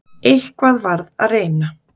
Eitthvað varð að reyna.